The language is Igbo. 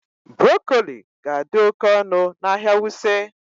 Broccoli ga-adị oke ọnụ n'ahịa Wuse